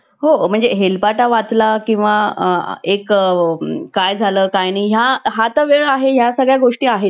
GPT चा वापर करून bing मध्ये सुधारणा करण्याचा मायक्रोसॉफ्टचा इरादा आहे. GPT चार ही प्रणालीची पुढची आवृत्ती